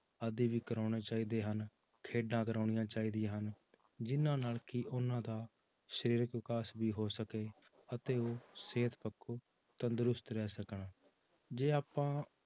ਆਦਿ ਵੀ ਕਰਵਾਉਣੇ ਚਾਹੀਦੇ ਹਨ, ਖੇਡਾਂ ਕਰਵਾਉਣੀਆਂ ਚਾਹੀਦੀਆਂ ਹਨ, ਜਿੰਨਾਂ ਨਾਲ ਕਿ ਉਹਨਾਂ ਦਾ ਸਰੀਰਕ ਵਿਕਾਸ ਵੀ ਹੋ ਸਕੇ, ਅਤੇ ਉਹ ਸਿਹਤ ਪੱਖੋਂ ਤੰਦਰੁਸਤ ਰਹਿ ਸਕਣ, ਜੇ ਆਪਾਂ